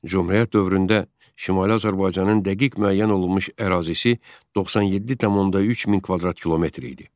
Cümhuriyyət dövründə Şimali Azərbaycanın dəqiq müəyyən olunmuş ərazisi 97,3 min kvadrat kilometr idi.